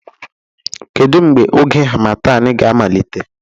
Kedu mgbe oge harmattan ga-amalite?